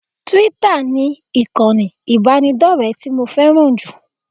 Twitter ni ìkànnì ìbánidọ́rẹ̀ẹ́ tí mo fẹ́ràn jù